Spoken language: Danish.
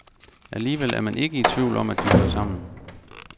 Alligevel er man ikke i tvivl om, at de hører sammen.